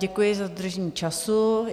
Děkuji za dodržení času.